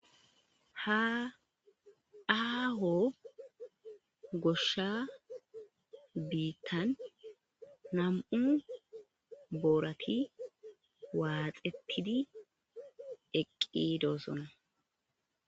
haaaho goshsha biittan nam7u boorati waaxetidi eqqi doosona